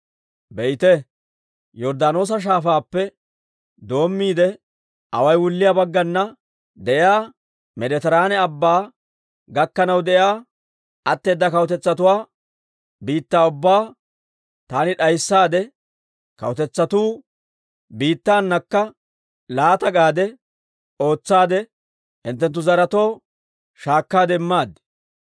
Be'ite, Yorddaanoosa Shaafaappe doommiide away wulliyaa baggana de'iyaa Meeditiraane Abbaa gakkanaw de'iyaa, atteeda kawutetsatuwaa biittaa ubbaa, taani d'aysseedda kawutetsatuu biittanakka laata gade ootsaadde, hinttenttu zaretoo shaakkaade immaad.